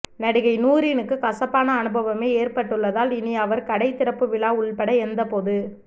நடிகை நூரினுக்கு கசப்பான அனுபவமே ஏற்பட்டுள்ளதால் இனி அவர் கடை திறப்பு விழா உள்பட எந்த பொது